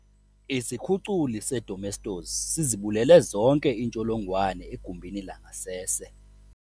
Isikhuculi sedomestos sizibulele zonke iintsholongwane egumbini langasese.